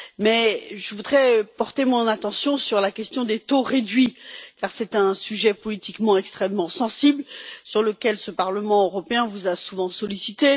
Mais, je voudrais m'intéresser à la question des taux réduits, car c'est un sujet politiquement extrêmement sensible sur lequel ce Parlement européen vous a souvent sollicité.